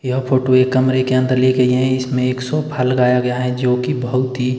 यह फोटो एक कमरे के अंदर ले गई है इसमें सोफा लगाया गया है जो की बहुत ही--